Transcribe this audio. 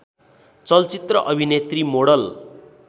चलचित्र अभिनेत्री मोडल